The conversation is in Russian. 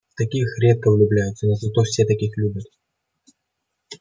в таких редко влюбляются но зато все таких любят